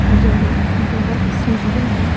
जहां बहुत सीरिया है।